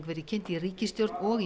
verið kynnt í ríkisstjórn og